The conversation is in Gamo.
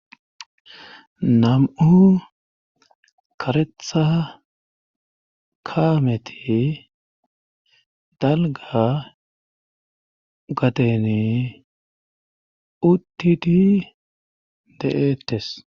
nam7u karetha kaameti dalga gatene uttidi de7ettes